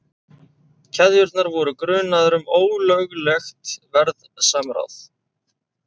Keðjurnar voru grunaðar um ólöglegt verðsamráð